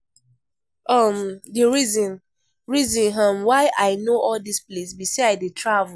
um The reason reason um why I know all dis place be say I dey travel